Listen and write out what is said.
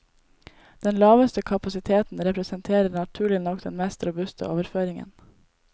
Den laveste kapasiteten representerer naturlig nok den mest robuste overføringen.